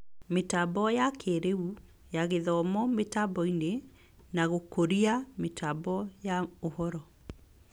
Mĩtambo ya kĩĩrĩu ( ya mathomo mĩtamboinĩ) ; na gũkũria mĩtambo ya ũhoro